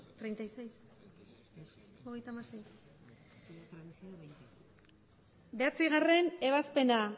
ebazpena bederatzigarrena ebazpena